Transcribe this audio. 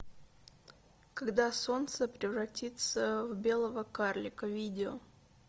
когда солнце превратится в белого карлика видео